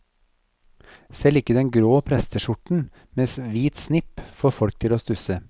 Selv ikke den grå presteskjorten med hvit snipp får folk til å stusse.